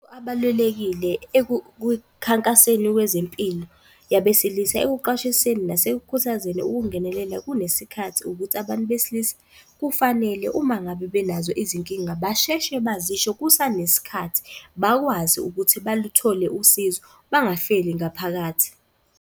Abalulekile ekukhankaseni kwezempilo yabesilisa. Ekuqwashiseni nasekukhuthazeni ukungenelela kunesikhathi ukuthi abantu besilisa kufanele, uma ngabe benazo izinkinga basheshe bazisho kusanesikhathi bakwazi ukuthi baluthole usizo, bangafeli ngaphakathi.